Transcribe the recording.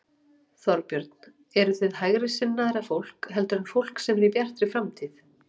Þorbjörn: Eruð þið hægri sinnaðra fólk heldur en fólk sem er í Bjartri framtíð?